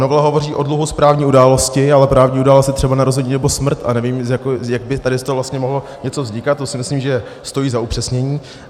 Novela hovoří o dluhu z právní události, ale právní událost je třeba narození nebo smrt a nevím, jak by tady z toho mohlo něco vznikat, to si myslím, že stojí za upřesnění.